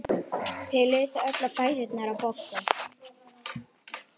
Þau litu öll á fæturna á Boggu.